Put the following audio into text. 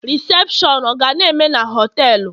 Rịsepshọn ọ ga na-eme na họtelu?